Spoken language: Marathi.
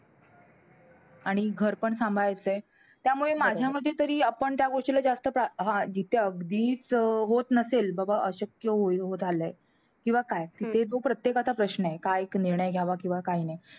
आणि घर पण सांभाळायचंय. त्यामुळे माझ्या मते तरी, आपण त्या गोष्टीला जास्त प्रा~ हा. जिथे अगदीचं अं होतं नसेल बाबा अशक्य होईल~ झालंय. किंवा काय ते तो प्रत्येकाचा प्रश्न आहे. काय एक निर्णय घ्यावा किंवा काय नाही.